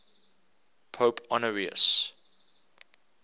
pope honorius